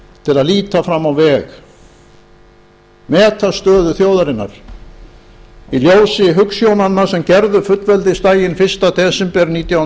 til að líta fram á veg meta stöðu þjóðarinnar í ljósi hugsjónanna sem gerðu fullveldisdaginn fyrsta desember nítján hundruð